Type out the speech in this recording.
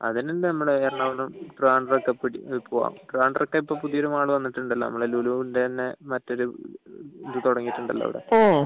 അതിനെല്ലോ നമ്മളെ എറണാകുളം ട്രിവാൻഡ്രം ഒക്കെ പോവുക ട്രിവാൻഡ്രം ഒക്കെ ഇപ്പൊ പുതിയൊരു മാളു വന്നിട്ടുണ്ടല്ലോ ലുലുവിന്റെ തന്നെ മറ്റൊരു ഇത് തുടങ്ങിയിട്ടുണ്ടല്ലോ അവിടെ